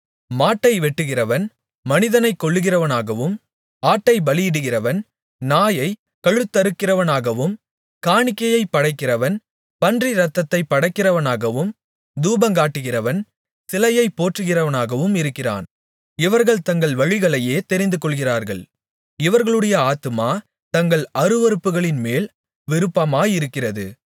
மாட்டை வெட்டுகிறவன் மனிதனைக் கொல்லுகிறவனாகவும் ஆட்டைப் பலியிடுகிறவன் நாயைக் கழுத்தறுக்கிறவனாகவும் காணிக்கையைப் படைக்கிறவன் பன்றி இரத்தத்தைப் படைக்கிறவனாகவும் தூபங்காட்டுகிறவன் சிலையை போற்றுகிறவனாகவும் இருக்கிறான் இவர்கள் தங்கள் வழிகளையே தெரிந்துகொள்ளுகிறார்கள் இவர்களுடைய ஆத்துமா தங்கள் அருவருப்புகளின்மேல் விருப்பமாயிருக்கிறது